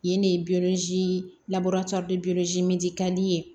Yen de ka di ye